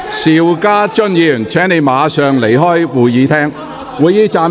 邵家臻議員，請你立即離開會議廳。